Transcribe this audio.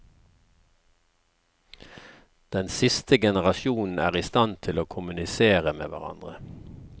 Den siste generasjonen er i stand til å kommunisere med hverandre.